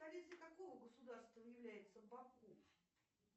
столицей какого государства является баку